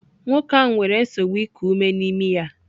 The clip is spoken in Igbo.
Nwoke ahụ nwere nsogbu iku ume na imi ya.